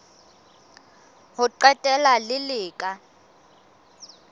ho qetela le le ka